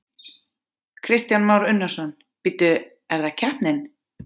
Kristján Már Unnarsson: Bíddu, er það keppnin?